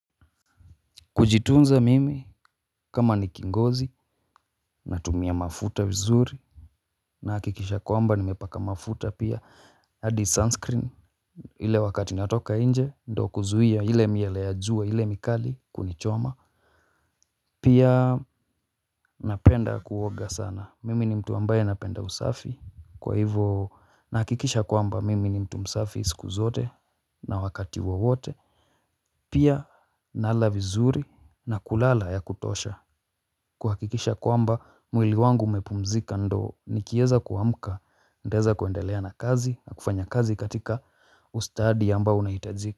Kujitunza mimi kama ni kingozi na tumia mafuta vizuri na hakikisha kwamba nimepaka mafuta pia adi sunscreen ile wakati natoka nje ndo kuzuhia ile miale ya jua ile mikali kunichoma. Pia napenda kuoga sana mimi ni mtu ambaye napenda usafi kwa hivo nahakikisha kwamba mimi ni mtu msafi siku zote na wakati wowote. Pia nala vizuri na kulala ya kutosha. Kuhakikisha kwamba mwili wangu umepumzika ndo nikieza kuamka. Nitaeza kuendeleana kazi na kufanya kazi katika ustadi ambao unaitajika.